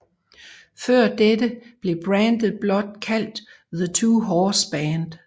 Før dette blev brandet blot kaldt The Two Horse Brand